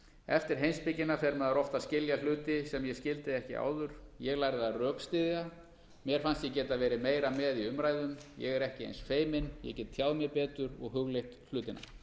eftir heimspekina fer maður oft að skilja hluti sem ég skildi ekki áður ég lærði að rökstyðja mér fannst ég geta verið meira með í umræðum ég er ekki eins feiminn ég get tjáð mig betur og hugleitt hlutina